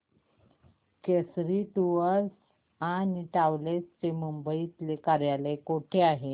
Kesari tours and travels चे मुंबई तले कार्यालय कुठे आहे